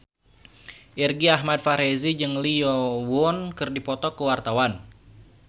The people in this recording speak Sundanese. Irgi Ahmad Fahrezi jeung Lee Yo Won keur dipoto ku wartawan